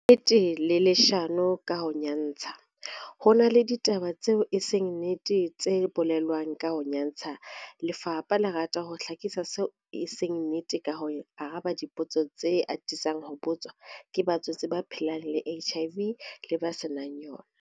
Nnete le leshano ka ho nyantsha Ho na le ditaba tseo e seng nnete tse bolelwang ka ho nyantsha, lefapha le rata ho hlakisa seo e seng nnete ka ho araba dipotso tsena tse atisang ho botswa ke batswetse ba phelang le HIV le ba se nang yona.